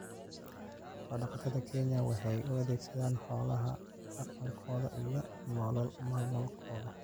Xoolo-dhaqatada Kenya waxay u adeegsadaan xoolaha dhaqankooda iyo nolol maalmeedkooda.